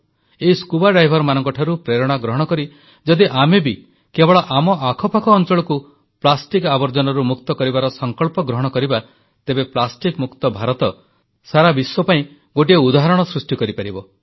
ଏହି ସ୍କୁବା ଡାଇଭର୍ସଙ୍କଠାରୁ ପ୍ରେରଣା ନେଇ ଯଦି ଆମେ ବି କେବଳ ଆମ ଆଖପାଖ ଅଂଚଳକୁ ପ୍ଲାଷ୍ଟିକ ଆବର୍ଜନାରୁ ମୁକ୍ତ କରିବାର ସଂକଳ୍ପ ଗ୍ରହଣ କରିବା ତେବେ ପ୍ଲାଷ୍ଟିକ ମୁକ୍ତ ଭାରତ ସାରା ବିଶ୍ୱ ପାଇଁ ଗୋଟିଏ ଉଦାହରଣ ସୃଷ୍ଟି କରିପାରିବେ